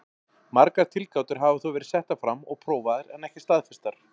Margar tilgátur hafa þó verið settar fram og prófaðar en ekki staðfestar.